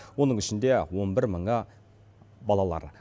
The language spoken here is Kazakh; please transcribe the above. оның ішінде он бір мыңы балалар